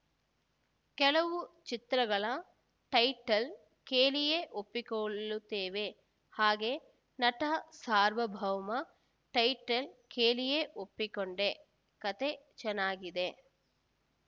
ಕೆಲವು ಚಿತ್ರಗಳ ಟೈಟಲ್‌ ಕೇಳಿಯೇ ಒಪ್ಪಿಕೊಳ್ಳುತ್ತೇವೆ ಹಾಗೆ ನಟ ಸಾರ್ವಭೌಮ ಟೈಟಲ್‌ ಕೇಳಿಯೇ ಒಪ್ಪಿಕೊಂಡೆ ಕತೆ ಚೆನ್ನಾಗಿದೆ